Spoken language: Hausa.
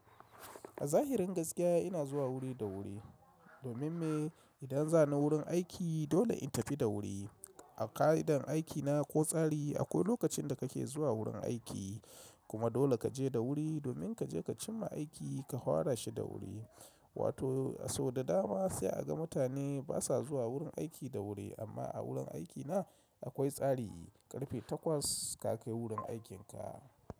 A zahirin gaskiya ina zuwa wuri da wuri domin me idan za na wurin aiki dole in tafi da wuri. A ka'idar aikina ko tsari akwai lokacin da kake zuwa wurin aiki kuma dole kaje da wuri domin kaje ka cimma aiki ka fara shi da wuri. Wato a sau da dama sai a ga mutane basa zuwa wurin aiki da wuri amma a wurin aikina akwai tsari karfe takwas ka kai wurin aikinka.